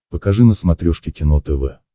покажи на смотрешке кино тв